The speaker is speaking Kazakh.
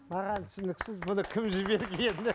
маған түсініксіз бұны кім жібергені